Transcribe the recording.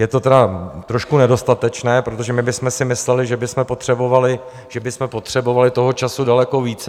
Je to tedy trošku nedostatečné, protože my bychom si mysleli, že bychom potřebovali toho času daleko více.